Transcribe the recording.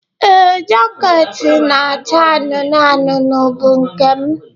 Ee, jaket na-acha anụnụ anụnụ bụ nke m.